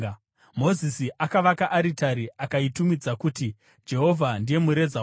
Mozisi akavaka aritari akaitumidza kuti “Jehovha ndiye Mureza wangu.”